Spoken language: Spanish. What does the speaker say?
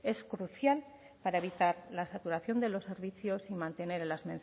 es crucial para evitar la saturación de los servicios y mantener en las